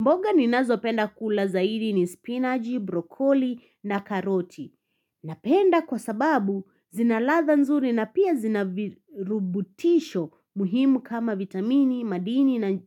Mboga ninazo penda kula zaidi ni spinaji, brokoli na karoti. Napenda kwa sababu zina ladha nzuri na pia zina virubutisho muhimu kama vitamini, madini na